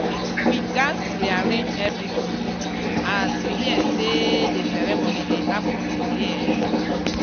we gatz rearrange everything as we hear say the ceremony dey happen today. um